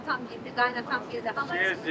Atam gəldi, qaynatan gəldi.